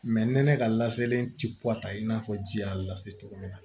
ni ne ka laselen ti i n'a fɔ ji y'a lase cogo min na